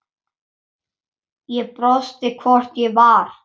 Ég brosti, hvort ég var!